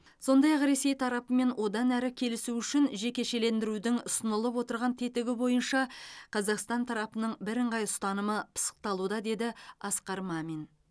сондай ақ ресей тарапымен одан әрі келісу үшін жекешелендірудің ұсынылып отырған тетігі бойынша қазақстан тарапының бірыңғай ұстанымы пысықталуда деді асқар мамин